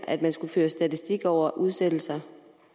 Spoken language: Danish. at man skulle føre statistik over udsættelser